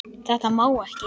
Þetta má ekki.